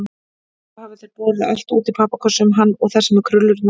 Svo hafa þeir borið allt út í pappakössum, hann og þessi með krullurnar.